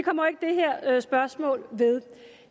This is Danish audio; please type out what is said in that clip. her spørgsmål ved